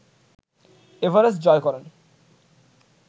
Everest জয় করেন